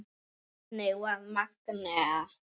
Þannig var Magnea.